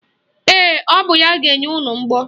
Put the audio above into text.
Ee, o bụ ya bụ ga-enye unu mgbọ.